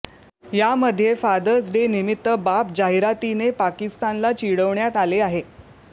यामध्ये father's day निमित्त बाप जाहिरातीने पाकिस्तानला चिडवण्यात आले आहे